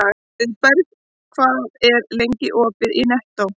Auðberg, hvað er lengi opið í Nettó?